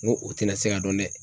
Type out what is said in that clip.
N ko o tɛna se ka dɔn dɛ.